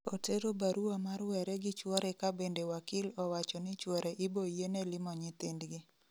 Otero barua mar were gi chuore ka bende wakil owacho ni chuore iboyiene limo nyithindgi